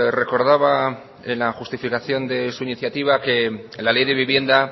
recordaba en la justificación de su iniciativa que la ley de vivienda